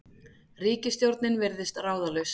Ríkisstjórnin virðist ráðalaus